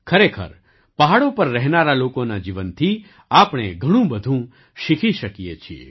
ખરેખર પહાડો પર રહેનારા લોકોના જીવનથી આપણે ઘણું બધું શીખી શકીએ છીએ